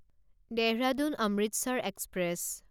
Dehradun Amritsar express